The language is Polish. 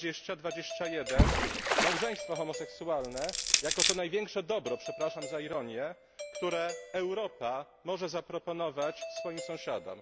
20 i 21 małżeństwo homoseksualne jako to największe dobro przepraszam za ironię które Europa może zaproponować swoim sąsiadom.